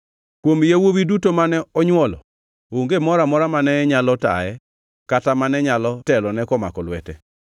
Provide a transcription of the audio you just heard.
Kuom yawuowi duto mane onywolo onge moro amora mane nyalo taye kata mane nyalo telone komako lwete.